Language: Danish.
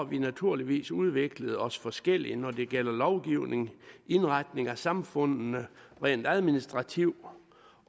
vi naturligvis udviklet os forskelligt når det gælder lovgivning indretning af samfundene rent administrativt